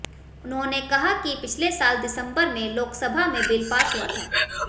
उन्होंने कहा कि पिछले साल दिसंबर में लोकसभा में बिल पास हुआ था